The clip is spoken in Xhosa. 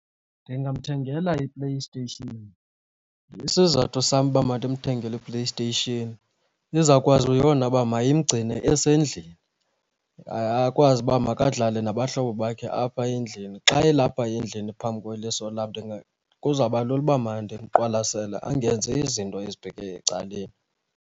Ndingamthengela iPlayStation. Isizathu sam uba mandimthengele iPlayStation izawukwazi yona uba mayimgcine esendlini akwazi uba makadlale nabahlobo bakhe apha endlini. Xa elapha endlini phambi kweliso lam, kuzawuba lula uba mandimqwalasele angenzi izinto ezibheke ecaleni.